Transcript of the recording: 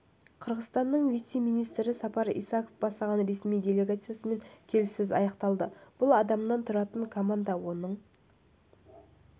қырғызстанның вице-министрі сапар исаков бастаған ресми делегациясымен келіссөз аяқталды бұл адамнан тұратын команда осының